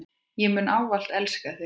Ég mun ávallt elska þig.